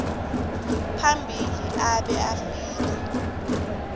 phambili abe afike